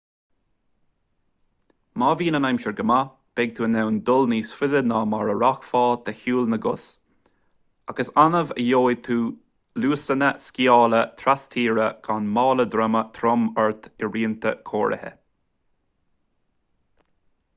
má bhíonn an aimsir go maith beidh tú in ann dul níos faide ná mar a rachfá de shiúl na gcos ach is annamh a gheobhaidh tú luasanna sciála tras-tíre gan mála droma trom ort i rianta cóirithe